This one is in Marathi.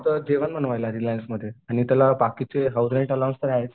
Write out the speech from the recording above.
जेवण बनवायला आहे रिलायन्समध्ये आणि त्याला बाकीचे हाऊस रेंट पण अलाऊ आहेत.